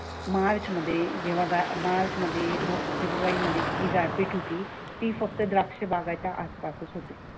मार्च मध्ये जेव्हा मार्च मध्ये, फेब्रुवारीमध्ये जी गारपीट होती ती फक्त द्राक्ष बागाच्या आसपासच होते.